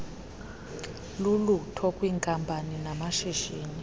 lulutho kwiinkampani namashishini